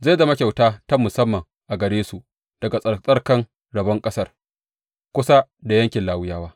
Zai zama kyauta ta musamman a gare su daga tsattsarkan rabon ƙasar, kusa da yankin Lawiyawa.